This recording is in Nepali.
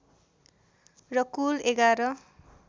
र कुल ११